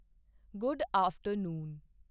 good after Noon